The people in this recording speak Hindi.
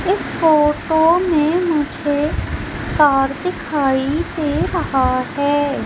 इस फोटो में मुझे कार दिखाई दे रहा है।